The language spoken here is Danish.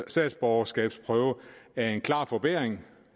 statsborgerskabsprøve er en klar forbedring